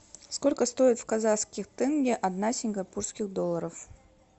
сколько стоит в казахских тенге одна сингапурских долларов